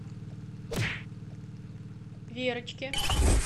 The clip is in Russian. верочке